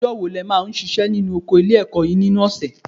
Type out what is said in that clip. Ọjọ́ wo lẹ máa ń ṣiṣẹ́ nínú oko ilé-ẹ̀kọ́ yín nínú ọ̀sẹ̀?